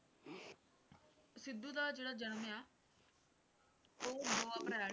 ਸਿੱਧੂ ਦਾ ਜਿਹੜਾ ਜਨਮ ਆ ਉਹ ਦੋ ਅਪ੍ਰੈਲ